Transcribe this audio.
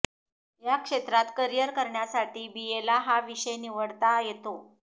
या क्षेत्रात करिअर करण्यासाठी बीएला हा विषय निवडता येतो